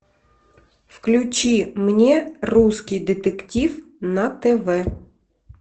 включи мне русский детектив на тв